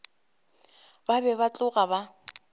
ba be ba tloga ba